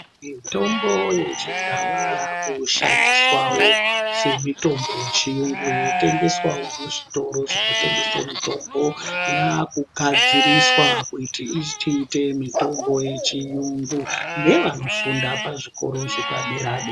Mitombo yechindau yakushandiswawo semitombo yechiyungu inotengeswa kuzvitoro kunotengeswa mitombo yakugadziriswa kuti ichiita mitombo yechiyungu nevanofunda pazvikora zvepadera dera.